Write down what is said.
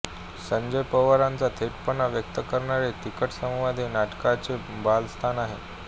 संजय पवारांचा थेटपणा व्यक्त करणारे तिखट संवाद हे या नाटकाचे बलस्थान आहे